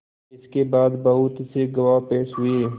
इसके बाद बहुत से गवाह पेश हुए